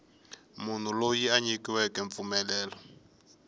munhu loyi a nyikiweke mpfumelelo